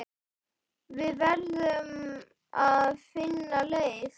Við verðum að finna leið.